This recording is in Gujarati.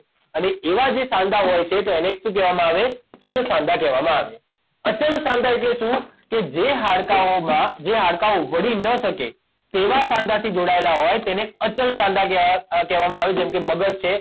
અને એવા જે સાંધા હોય છે તો એને શું કહેવામાં આવે ચલ સાંધા કહેવામાં આવે અચલ સાંધા એટલે શું કે જે હાડકાઓમાં જે હાડકાંઓ વળી ન શકે તેવાં સાંધાથી જોડાયેલા હોય તેને અચલ સાંધા કહેવાય કહેવામાં આવે જેમ કે મગજ છે